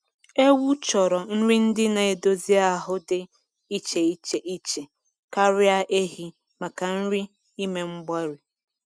Ewu chọrọ nri ndị na-edozi ahụ dị iche iche iche karịa ehi maka nri ime mgbari